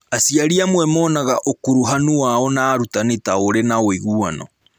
Aciari amwe monaga ũkuruhanu wao na arutani ta ũrĩ wa ũiguano.